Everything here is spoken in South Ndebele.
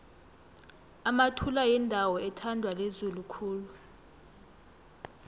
emathula yindawo ethandwa lizulu khulu